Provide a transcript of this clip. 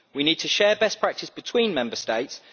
we need to share best practices between Member States